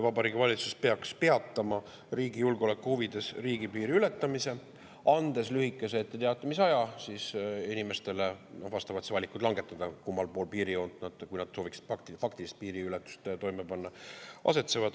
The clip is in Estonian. Vabariigi Valitsus peaks riigi julgeoleku huvides peatama riigipiiri ületamise, andes inimestele lühikese etteteatamisaja, et langetada valik, kummal pool piirijoont nad asetsevad, kui nad sooviksid faktilist piiriületust toime panna.